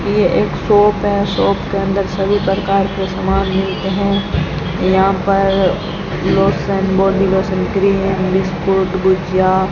ये एक शॉप है शॉप के अंदर सभी प्रकार के सामान मिलते हैं यहां पर lotion body lotion cream biscuit